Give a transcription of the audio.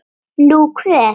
Nú, hver?